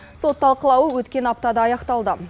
сот талқылауы өткен аптада аяқталды